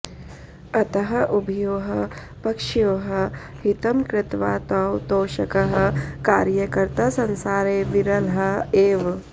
अतः उभयोः पक्षयोः हितं कृत्वा तौ तोषकः कार्यकर्ता संसारे विरलः एव